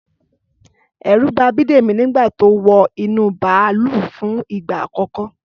Ẹ̀rù ba Bídèmí nígbà tó wọ inú bàlúù fún ìgbà àkọ́kọ́